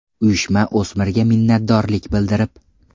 Uyushma o‘smirga minnatdorlik bildirib.